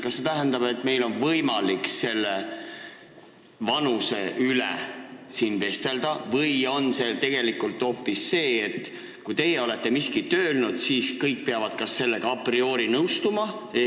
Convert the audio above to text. Kas see tähendab, et meil on võimalik selle vanuse üle siin arutleda või arvate, et tegelikult on nii, et kui teie olete miskit öelnud, siis kõik peavad sellega a priori nõustuma?